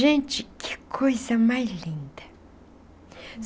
Gente, que coisa mais linda.